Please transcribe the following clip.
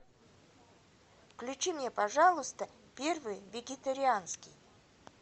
включи мне пожалуйста первый вегетарианский